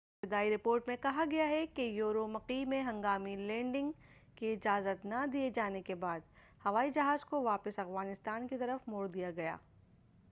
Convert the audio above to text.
ابتدائی رپورٹ میں کہا گیا ہے کہ یورومقی میں ہنگامی لینڈنگ کی اجازت نہ دیے جانے کے بعد ہوائی جہاز کو واپس افغانستان کی طرف موڑ دیا گیا